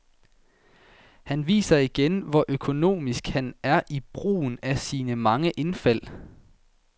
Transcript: Han viser igen, hvor økonomisk han er i brugen af sine mange indfald.